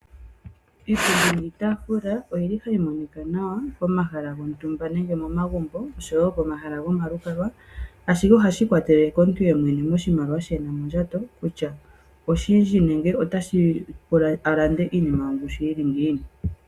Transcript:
Iipundi niitaafula oyi li ha yi monika nawa pomahala gontumba, nenge momagumbo, osho wo pomahala gomalukalwa , ashike ohashi ikwatelele komuntu ye mwene moshimaliwa shi e na mondjato, kutya oshindji nenge itashi pula a lande iinima yongushu yi li ngiini.